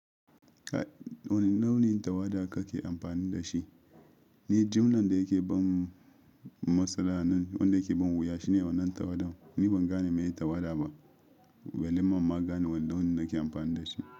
Wane launin tawada kake amfani da shi? Ni jumlan da yake bin masana'an wanda yake bin wuya shine wannan tawada. Ni ban gane meye tawada ba, walimamma gane wane launin nake amfani da shi.